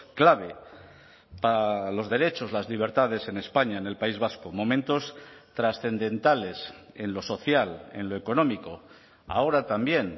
clave para los derechos las libertades en españa en el país vasco momentos trascendentales en lo social en lo económico ahora también